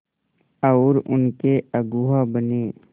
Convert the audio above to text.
और उनके अगुआ बने